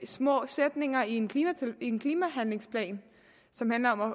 små sætninger i en en klimahandlingsplan som handler om at